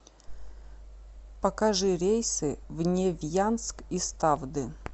покажи рейсы в невьянск из тавды